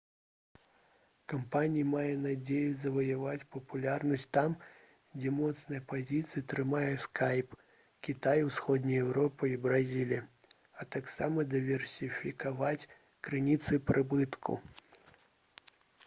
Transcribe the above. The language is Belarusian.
кампанія мае надзею заваяваць папулярнасць там дзе моцныя пазіцыі трымае скайп кітай усходняя еўропа і бразілія а таксама дыверсіфікаваць крыніцы прыбытку